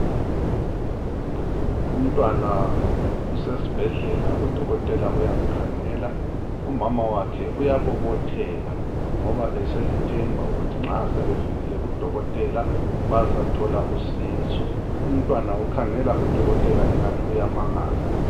Umntwana usesibhedlela. Udokotela uyamkhangela. Umama wakhe uyabobotheka ngoba eselethemba ukuthi nxa sebefikile kudokotela bazathola usizo. Umntwana ukhangele udokotela engani uyamangala.